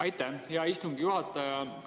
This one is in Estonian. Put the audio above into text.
Aitäh, hea istungi juhataja!